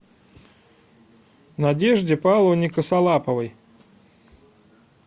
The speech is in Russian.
надежде павловне косолаповой